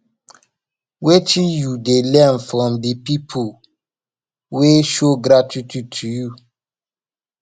wetin you dey learn from di people wey show gratitude to you